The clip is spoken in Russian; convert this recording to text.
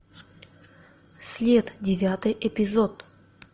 след девятый эпизод